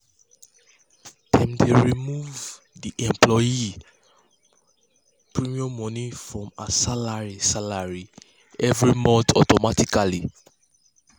dem dey remove um the employee premium money from her salary salary every month automatically.